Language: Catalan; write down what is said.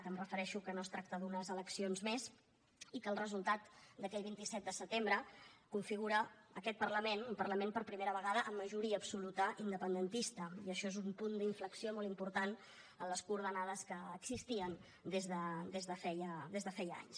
em refereixo que no es tracta d’unes eleccions més i que el resultat d’aquell vint set de setembre configura aquest parlament un parlament per primera vegada amb majoria absoluta independentista i això és un punt d’inflexió molt important en les coordenades que existien des de feia anys